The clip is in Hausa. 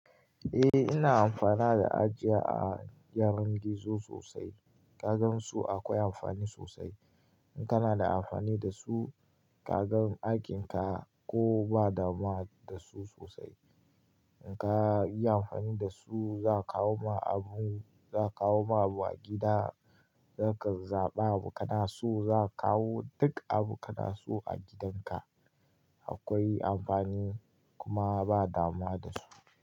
Eh ina amfana da ajiya a gyaran gizo sosai. Ka gan su akwai amfani sosai. In kana da amfani da su ka gan aikinka ko ba dama da su sosai. Inka yi amfani da su za kawo ma abu, za kawo ma abu a gida, zaka zaɓa abu kana so za kawo duk abu kana so a gidanka. Akwai amfani kuma ba dama da su.